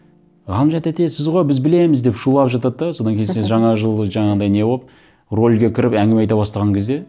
ғалымжан тәте сіз ғой біз білеміз деп шулап жатады да содан кейін сен жаңа жыл жаңағындай не болып рольге кіріп әңгіме айта бастаған кезде